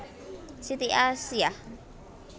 Siti Asiyah